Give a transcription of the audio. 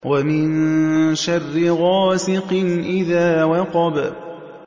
وَمِن شَرِّ غَاسِقٍ إِذَا وَقَبَ